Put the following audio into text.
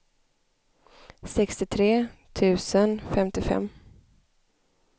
sextiotre tusen femtiofem